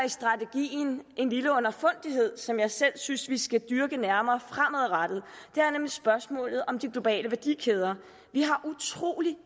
en lille underfundighed som jeg selv synes vi skal dyrke nærmere fremadrettet det er nemlig spørgsmålet om de globale værdikæder